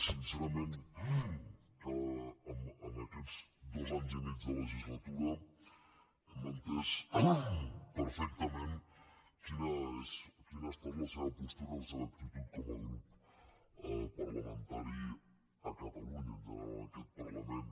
sincerament en aquests dos anys i mig de legislatura hem entès perfectament quina ha estat la seva postura i la seva actitud com a grup parlamentari a catalunya i en general en aquest parlament